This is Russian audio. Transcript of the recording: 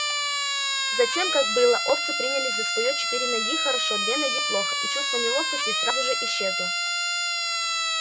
затем как было овцы принялись за своё четыре ноги хорошо две ноги плохо и чувство неловкости сразу же исчезло